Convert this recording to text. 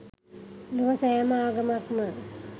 ලොව සෑම ආගමක්ම